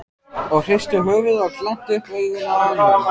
og hristu höfuðið og glenntu upp augun af ánægju.